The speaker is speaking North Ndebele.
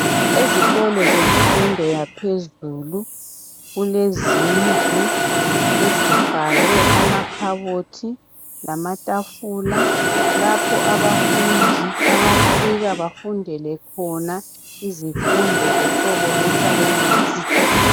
Ezikolo emfundo yaphezulu kulezindlu ezifakwe amakhabothi lamatafula lapho abafundi abafika bafundele khona izifundo zohlolo lwescience.